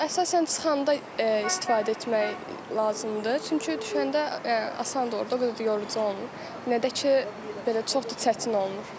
Əsasən çıxanda istifadə etmək lazımdır, çünki düşəndə asandır orda o qədər də yorucu olmur, nə də ki belə çox da çətin olmur.